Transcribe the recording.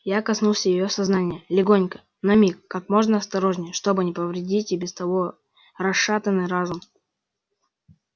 я коснулся её сознания легонько на миг как можно осторожнее чтобы не повредить и без того расшатанный разум